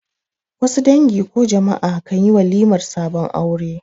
Wasu dangi ko jama'a kanli walimar sabon aure